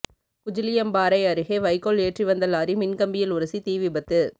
குஜிலியம்பாறை அருகே வைக்கோல் ஏற்றி வந்த லாரி மின்கம்பியில் உரசி தீவிபத்து